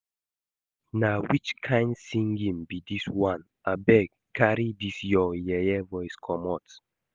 Na which kin singing be dis one? Abeg carry dis your yeye voice comot